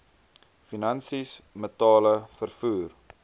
finansies metale vervoer